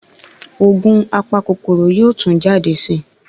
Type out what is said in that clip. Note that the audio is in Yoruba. ògùn apa kòkòrò yóò tún jade sí